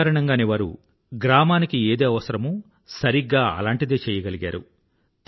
ఈ కారణంగానే వారు గ్రామానికి ఏది అవసరమో సరిగ్గా అలాంటిదే చెయ్యగలిగారు